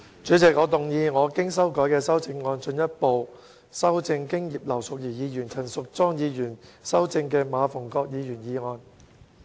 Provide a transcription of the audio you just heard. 主席，我動議我經修改的修正案，進一步修正經葉劉淑儀議員及陳淑莊議員修正的馬逢國議員議案。